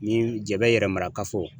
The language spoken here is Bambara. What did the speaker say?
Ni Jɛbɛ yɛrɛmarakafo